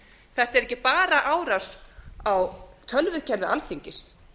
þetta er ekki bara árás á tölvukerfi alþingis